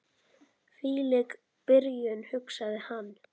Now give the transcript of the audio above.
Hvílík byrjun, hugsaði hann.